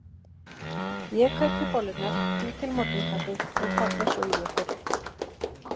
Ég kaupi bollurnar, bý til morgunkaffið og kalla svo í ykkur.